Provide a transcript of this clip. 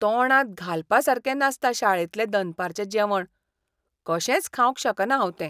तोंडांत घालपासारकें नासता शाळेंतलें दनपारचें जेवण, कशेंच खावंक शकना हांव तें.